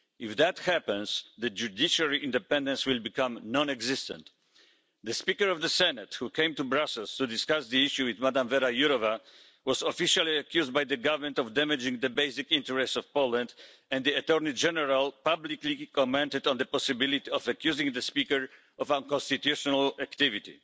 If that happens, judiciary independence will become non existent. The Speaker of the Senate, who came to Brussels to discuss the issue with Ms Věra Jourová, was officially accused by the government of damaging the basic interests of Poland, and the attorney-general publicly commented on the possibility of accusing the speaker of unconstitutional activity.